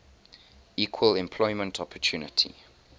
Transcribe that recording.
equal employment opportunity